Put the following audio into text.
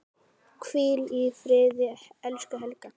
Hvíl í friði, elsku Helga.